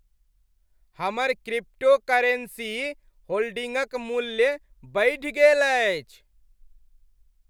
हमर क्रिप्टोकरेन्सी होल्डिंगक मूल्य बढ़ि गेल अछि।